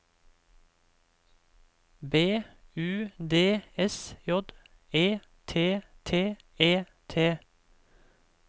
B U D S J E T T E T